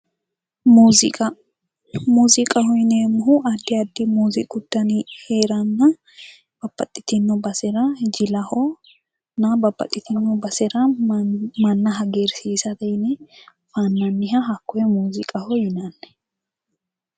Muziiqa muziqaho yineemohu addi addi muziiqu dani heeranna babbaxitino basera jilahona babbaxitino basera manna hagiriisate yine fannaniha hakkoye muziqaho yinanni